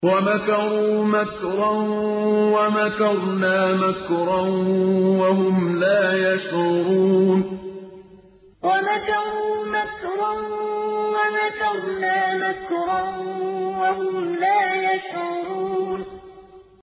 وَمَكَرُوا مَكْرًا وَمَكَرْنَا مَكْرًا وَهُمْ لَا يَشْعُرُونَ وَمَكَرُوا مَكْرًا وَمَكَرْنَا مَكْرًا وَهُمْ لَا يَشْعُرُونَ